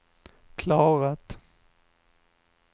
klarat